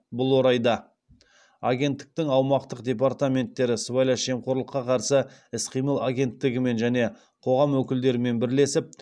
бұл орайда агенттіктің аумақтық департаменттері сыбайлас жемқорлыққа қарсы іс қимыл агенттігімен және қоғам өкілдерімен бірлесіп